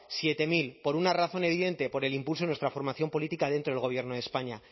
siete mil por una razón evidente por el impulso de nuestra formación política dentro del gobierno de españa